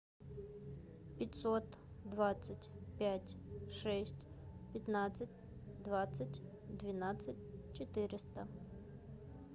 пятьсот двадцать пять шесть пятнадцать двадцать двенадцать четыреста